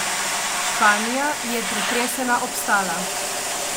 Španija je pretresena obstala.